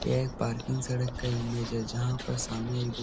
यह एक पार्किंग सड़क का इमेज है जहां पर सामने एक दु --